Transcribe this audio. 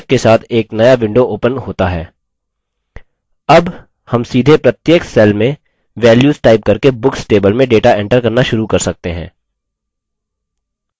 अब हम सीधे प्रत्येक cell में values टाइप करके books table में data एंटर करना शुरू कर सकते हैं